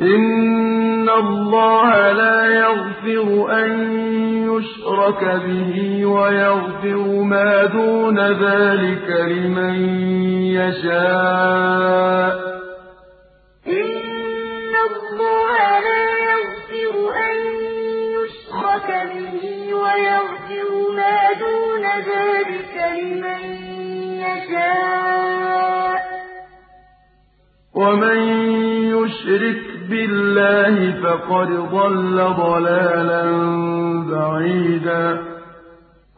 إِنَّ اللَّهَ لَا يَغْفِرُ أَن يُشْرَكَ بِهِ وَيَغْفِرُ مَا دُونَ ذَٰلِكَ لِمَن يَشَاءُ ۚ وَمَن يُشْرِكْ بِاللَّهِ فَقَدْ ضَلَّ ضَلَالًا بَعِيدًا